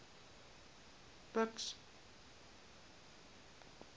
buks